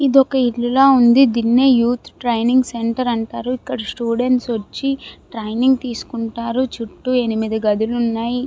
ఇది ఒక ఇల్లు లాగా ఉంది. దీన్నే యూత్ ట్రైనింగ్ సెంటర్ అంటారు. ఇక్కడ స్టూడెంట్స్ వచ్చి ట్రైనింగ్ తీసుకుంటారు. చుట్టూ ఎనిమిది గదులు ఉన్నాయి.